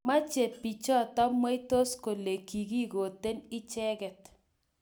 Mwoei bichoto mweitos kole kikigooten icheket